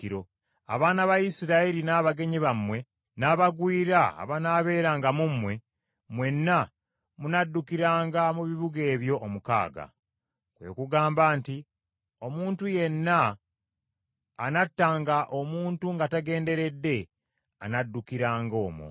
Abaana ba Isirayiri n’abagenyi bammwe, n’abagwira abanaabeeranga mu mmwe, mwenna munaddukiranga mu bibuga ebyo omukaaga. Kwe kugamba nti omuntu yenna anattanga omuntu nga tagenderedde anaddukiranga omwo.’